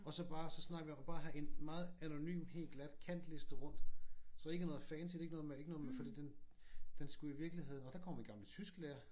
Og så bare så snakkede vi om at bare have en meget anonym helt glat kantliste rundt. Så ikke noget fancy ikke noget med fordi den skulle i virkeligheden nå der kommer min gamle tysklærer